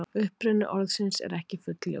Uppruni orðsins er ekki fullljós.